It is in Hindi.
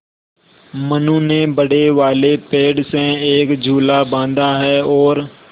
मनु ने बड़े वाले पेड़ से एक झूला बाँधा है और